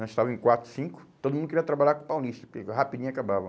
Nós estava em quatro, cinco, todo mundo queria trabalhar com paulista, porque rapidinho acabava.